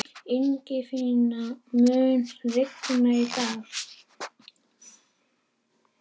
Ingifinna, mun rigna í dag?